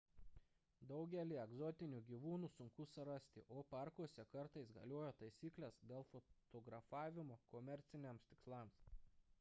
daugelį egzotinių gyvūnų sunku surasti o parkuose kartais galioja taisyklės dėl fotografimo komerciniams tikslams